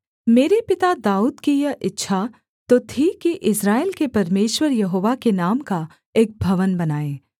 मेरे पिता दाऊद की यह इच्छा तो थी कि इस्राएल के परमेश्वर यहोवा के नाम का एक भवन बनाए